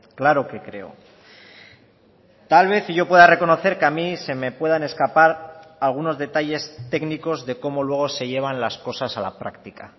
claro que creo tal vez y yo pueda reconocer que a mí se me puedan escapar algunos detalles técnicos de cómo luego se llevan las cosas a la práctica